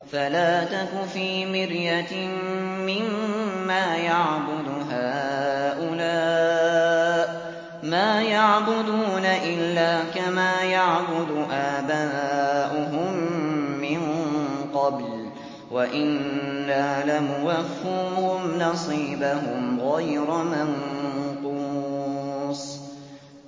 فَلَا تَكُ فِي مِرْيَةٍ مِّمَّا يَعْبُدُ هَٰؤُلَاءِ ۚ مَا يَعْبُدُونَ إِلَّا كَمَا يَعْبُدُ آبَاؤُهُم مِّن قَبْلُ ۚ وَإِنَّا لَمُوَفُّوهُمْ نَصِيبَهُمْ غَيْرَ مَنقُوصٍ